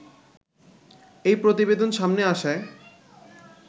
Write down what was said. এই প্রতিবেদন সামনে আসায়